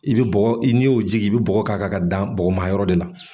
I bi bɔgɔ i n'i y'o jigin i bi bɔ k' a kan ka dan bɔgɔma yɔrɔ de la.